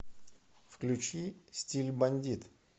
включи стиль бандит